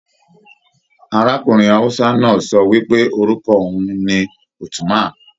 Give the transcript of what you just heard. Arákùnrin Hausa náà sọ wipe orúkọ oun ní Uthman.